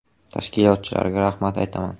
Tashkilotchilarga rahmat aytaman.